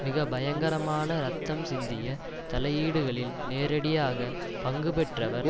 மிக பயங்கரமான ரத்தம் சிந்திய தலையீடுகளில் நேரடியாக பங்குபெற்றவர்